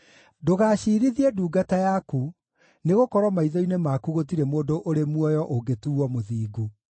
Ndũgaciirithie ndungata yaku, nĩgũkorwo maitho-inĩ maku gũtirĩ mũndũ ũrĩ muoyo ũngĩtuuo mũthingu.